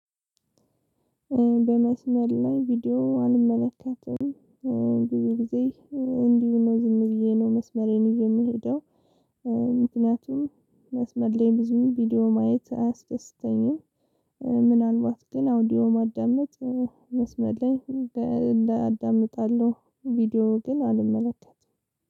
በመስመር ላይ ቪዲዮ አልመለከትም ብዙ ጊዜ እንዲሁ ነው ዝም ብዬ ነው መስመሬን ይዤየምሄደው። ምክንያቱም መስመር ላይ ብዙ ቪዲዮ ማየት አያስደስተኝም። ምናልባት ግን አውዲዮ ማዳመጥ መስመር ላይ አዲስ አዳምጣለሁ ቪዲዮ ግን አልመለከትም።